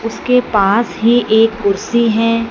उसके पास ही एक कुर्सी है।